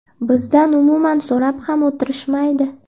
Bizdan umuman so‘rab ham o‘tirishmaydi.